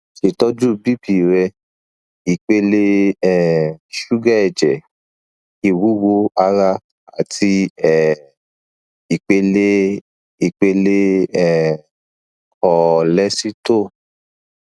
ṣetọju bp rẹ ipele um suga ẹjẹ iwuwo ara ati um ipele ipele um kọọlesito